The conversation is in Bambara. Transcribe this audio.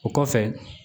O kɔfɛ